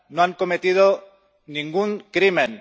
No han cometido ningún crimen.